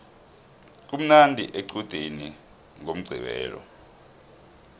kumnandi equdeni ngomqqibelo